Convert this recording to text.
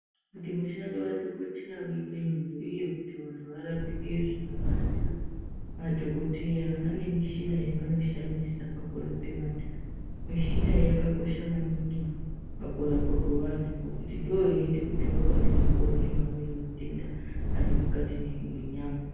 Kuti mushando wadhogodheya uitenyore, uye kuti vantu varapike zvinokasira, madhogodheya vanemishina yavanoshandisa pakurape vantu. Mishinayo yakakosha maningi pakurapwa kwevantu ngekuti ndiyo inoita kuti vakwanise kuona mamweni matenda arimukati menyama.